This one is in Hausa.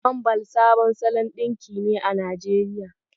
Wamball sabon salon ɗinki ne a Najeriya.